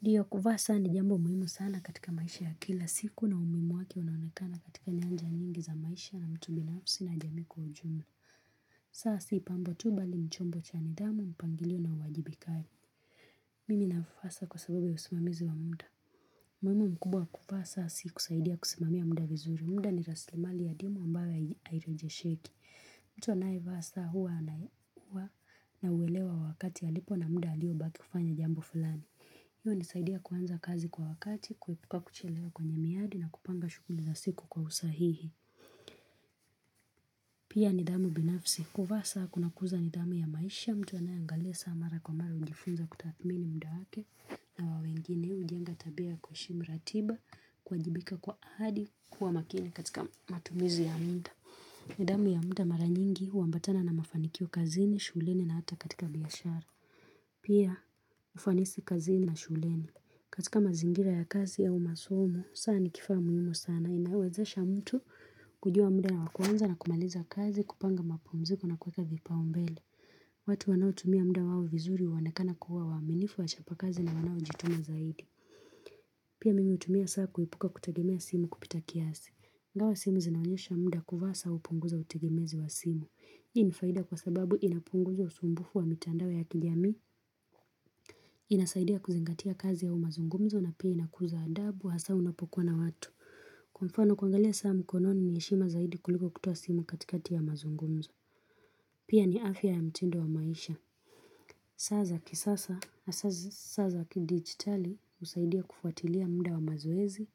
Ndiyo kuva saa ni jambo muhimu sana katika maisha ya kila siku na umuhimu wake unaonekana katika nyanja nyingi za maisha na mtu binafsi na jamii kwa ujumla. Sa si pambo tu bali mchombo cha nidhamu mpangilio na uwajibikaji. Mimi navaa sa kwa sababu ya usimamizi wa mda. Muhimu mkubwa wa kuvaa saa si kusaidia kusimamia mda vizuri. Mda ni raslimali ya dimu ambayo hairejesheki. Mtu anayevaa saa huwa ana huwa na uwelewa wakati alipo na mda aliobaki kufanya jambo fulani. Hiyo hunisaidia kuanza kazi kwa wakati, kuipa kuchelewa kwenye miadi na kupanga shughuli za siku kwa usahihi. Pia nidhamu binafsi. Kuva saa kunakuza nidhamu ya maisha mtu anayeangalia saa mara kwa mara hujifunza kutathmini mda wake na wa wengine hujenga tabia kuheshimu ratiba kuwajibika kwa ahadi kuwa makini katika matumizi ya mda. Nidhamu ya mda mara nyingi huambatana na mafanikio kazini, shuleni na hata katika biashara. Pia, ufanisi kazini na shuleni. Katika mazingira ya kazi ya au masomo, saa ni kifaa muhimu sana. Inawazesha mtu kujua mda wa kuanza na kumaliza kazi kupanga mapumziko na kuweka vipaumbele. Watu wanaotumia mda wao vizuri huonekana kuwa waaminifu wachapa kazi na wanaojituma zaidi. Pia mimi hutumia saa kuipuka kutegemea simu kupita kiasi. Ingawa simu zinaonyesha mda kuvaa saa hupunguza utegemezi wa simu. Hii ni faida kwa sababu inapunguza usumbufu wa mitandao ya kijami. Inasaidia kuzingatia kazi au mazungumzo na pia inakuza adabu, hasa unapokuwa na watu. Kwa mfano kuangalia saa mkononi ni heshima zaidi kuliko kutoa simu katikati ya mazungumzo. Pia ni afya ya mtindo wa maisha. Saa za kisasa, hasa saa za kidigitali, husaidia kufuatilia mda wa mazoezi,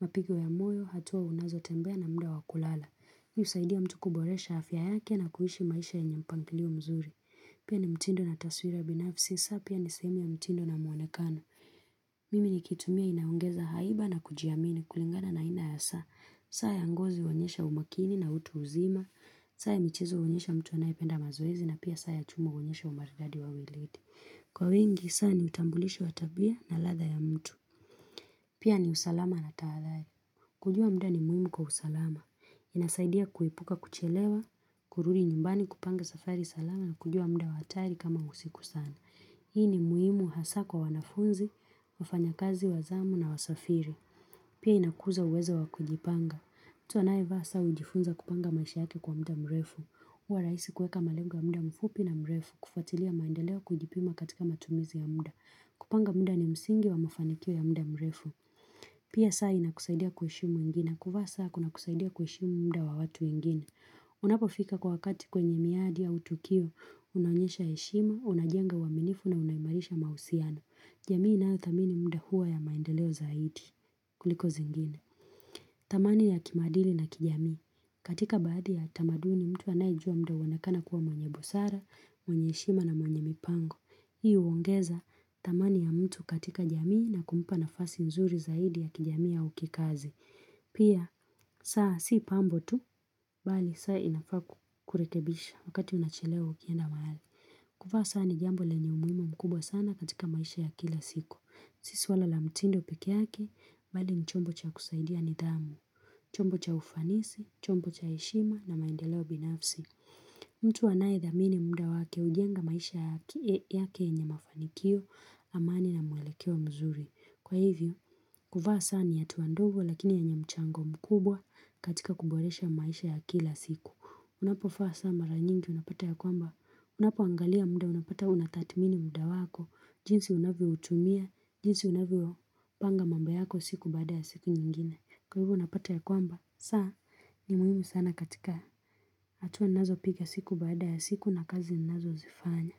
mapigo ya moyo, hatua unazotembea na mda wa kulala. Hii husaidia mtu kuboresha afya yake na kuishi maisha yenye mpangilio mzuri. Pia ni mtindo na taswira binafsi, saa pia ni sehemu ya mtindo na mwonekano. Mimi nikitumia inaongeza haiba na kujiamini kulingana na aina ya saa. Saa ya ngozi huonyesha umakini na utu uzima. Saa ya michezo huonyesha mtu anayependa mazoezi na pia saa ya chuma huonyesha umaridadi wa weledi. Kwa wengi, saa ni utambulisho wa tabia na ladha ya mtu. Pia ni usalama na tahadhari. Kujua mda ni muhimu kwa usalama. Inasaidia kuepuka kuchelewa, kurudi nyumbani kupanga safari salama, na kujua mda wa hatari kama usiku sana. Hii ni muhimu hasa kwa wanafunzi, wafanyakazi wa zamu na wasafiri. Pia inakuza uwezo wa kujipanga. Mtu anayevaa saa hujifunza kupanga maisha yake kwa mda mrefu. Huwa rahisi kueka malengo ya mda mfupi na mrefu kufwatilia maendele kujipima katika matumizi ya mda. Kupanga mda ni msingi wa mafanikio ya mda mrefu. Pia saa inakusaidia kuheshimu wengine. Kuvaa saa kunakusaidia kuheshimu mda wa watu wengine. Unapofika kwa wakati kwenye miadi au tukio, unaonyesha heshima, unajenga uaminifu na unaimarisha mahusiano jamii inayothamini mda huwa ya maendeleo zaidi kuliko zingine tamani ya kimaadili na kijamii katika baadhi ya tamaduni mtu anayejua mda huonakana kuwa mwenye busara, mwenye heshima na mwenye mipango Hii huongeza thamani ya mtu katika jamii na kumpa nafasi nzuri zaidi ya kijamii au kikazi Pia, saa si pambo tu, bali saa inafaa ku kurekebisha wakati unachelewa ukienda mahali. Kuvaa saa ni jambo lenye umuhimu mkubwa sana katika maisha ya kila siku. Si swala la mtindo peke yake, bali ni chombo cha kusaidia nidhamu. Chombo cha ufanisi, chombo cha heshima na maendeleo binafsi. Mtu anayethamini mda wake hujenga maisha yake yake yenye mafanikio, amani na mwelekeo mzuri. Kwa hivyo, kuvaa saa ni hatua ndogo lakini yenye mchango mkubwa katika kuboresha maisha ya kila siku. Unapofaa saa mara nyingi unapata ya kwamba, unapoangalia mda unapata unatathimini mda wako, jinsi unavyoutumia, jinsi unavyopanga mambo yako siku baada ya siku nyingine. Kwa hivyo unapata ya kwamba, saa ni muhimu sana katika. Hatua ninazopiga siku baada ya siku na kazi ninazozifanya.